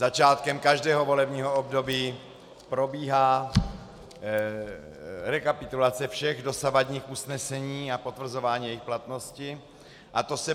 Začátkem každého volebního období probíhá rekapitulace všech dosavadních usnesení a potvrzování jejich platnosti.